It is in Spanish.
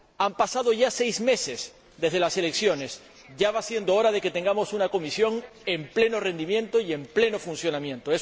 Han pasado ya seis meses desde las elecciones ya va siendo hora de que tengamos una Comisión a pleno rendimiento y en pleno funcionamiento.